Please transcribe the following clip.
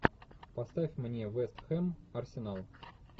поставь мне вест хэм арсенал